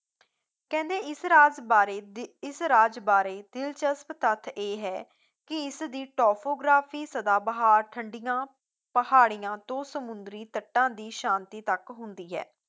ਕਹਿੰਦੇ ਇਸ ਰਾਸ ਬਾਰੇ ਤੇ ਇਸ ਰਾਜ ਬਾਰੇ ਦਿਲਚਸਪ ਤੱਥ ਇਹ ਹੈ ਕੀ ਇਸਦੀ topography ਸਦਾਬਹਾਰ, ਠੰਡੀਆਂ ਪਹਾੜੀਆਂ ਤੋਂ ਸਮੁੰਦਰੀ ਤੱਟਾਂ ਦੀ ਸ਼ਾਂਤੀ ਤੱਕ ਹੁੰਦੀ ਹੈ